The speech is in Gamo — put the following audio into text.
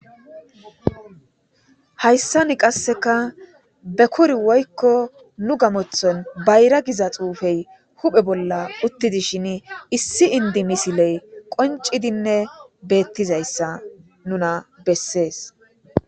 Hayssanni qassika bekur woykko nu gamoththon bayra giza xuufee huhe bolla uththi dishini issi inddi misilee qonccidinne beeththizayssa nuna bessees.